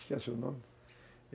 esquece o nome.